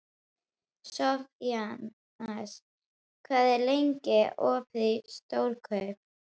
Sophanías, hvað er lengi opið í Stórkaup?